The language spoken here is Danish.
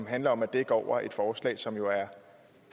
handler om at dække over et forslag som jo er